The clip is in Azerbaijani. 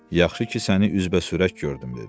Yaxşı ki, səni üzbəsürək gördüm, dedi.